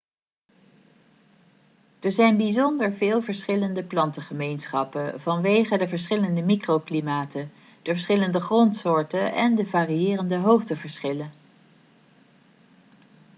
er zijn bijzonder veel verschillende plantengemeenschappen vanwege de verschillende microklimaten de verschillende grondsoorten en de variërende hoogteverschillen